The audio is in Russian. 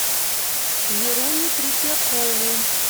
веруню третьякову